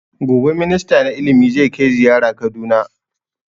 Gobe minista na ilimi zai kai zaiyara kaduna